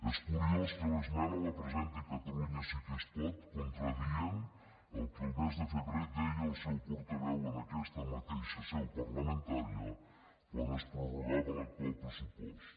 és curiós que l’esmena la presenti catalunya sí que es pot contradient el que el mes de febrer deia el seu portaveu en aquesta mateixa seu parlamentària quan es prorrogava l’actual pressupost